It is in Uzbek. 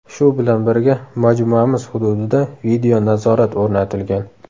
Shu bilan birga majmuamiz hududida video-nazorat o‘rnatilgan.